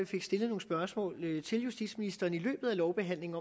fik stillet nogle spørgsmål til justitsministeren i løbet af lovbehandlingen